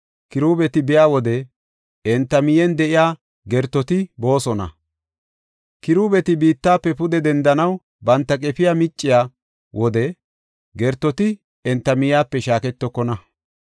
Kiruubeti biya wode, enta miyen de7iya gertoti boosona; Kiruubeti biittafe pude dendanaw banta qefiya micciya wode gertoti enta miyepe shaaketokona.